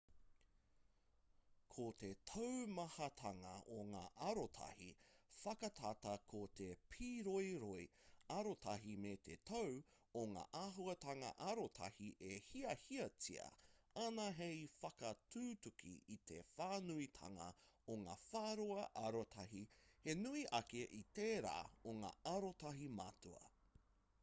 ko te taumahatanga o ngā arotahi whakatata ko te pīroiroi arotahi me te tau o ngā āhuatanga arotahi e hiahiatia ana hei whakatutuki i te whānuitanga o ngā whāroa arotahi he nui ake i tērā o ngā arotahi matua